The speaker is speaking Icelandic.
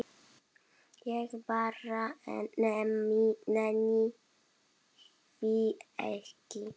Ég bara nenni því ekki.